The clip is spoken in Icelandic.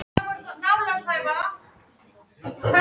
Septíma, hver er dagsetningin í dag?